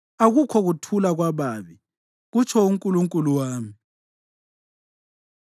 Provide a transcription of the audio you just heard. “Akukho kuthula kwababi,” kutsho uNkulunkulu wami.